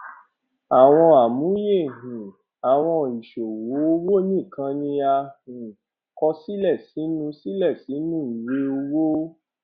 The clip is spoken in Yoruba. àwọn àmúyẹ um àwọn ìṣòwò owó ní kan ni a um kọ sílè sínú sílè sínú ìwé owó